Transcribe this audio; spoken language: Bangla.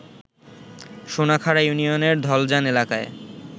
সোনাখাড়া ইউনিয়নের ধলজান এলাকায়